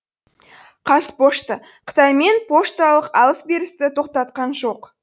қазпошта қытаймен пошталық алыс берісті тоқтатқан жоқ